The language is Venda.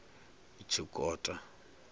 tshikota